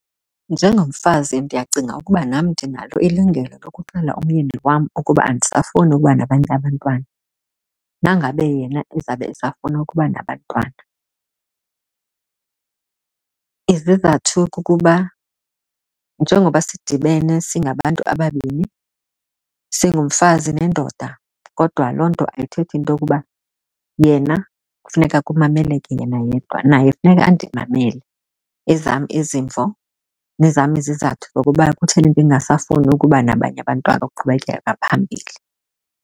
Njengomfazi ndiyacinga ukuba nam ndinalo ilungelo lokuxelela umyeni wam ukuba andisafunii ukuba nabanye abantwana nangabe yena ezawube esafuna ukuba nabantwana. Izizathu kukuba njengoba sidibene singabantu ababini, singumfazi nendoda, kodwa loo nto ayithethi into yokuba yena kufuneka kumameleke yena yedwa. Naye funeka undimamele ezam izimvo nezam izizathu zokuba kutheni ndingasafuni ukuba nabanye abantwana ukuqhubekeka ngaphambili.